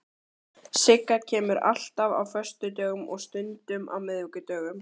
Sigga kemur alltaf á föstudögum og stundum á miðvikudögum.